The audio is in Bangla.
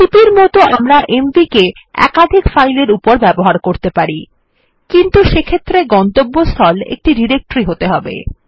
সিপি র মতন আমরা এমভি কে একাধিক ফাইল এর উপর ব্যবহার করতে পারি কিন্তু সেক্ষেত্রে গন্তব্যস্থল একটি ডিরেক্টরি হতে হবে